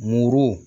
Muru